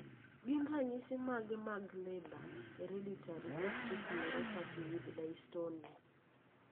Gin ranyisi mage mag Leber hereditary optic neuropathy with dystonia?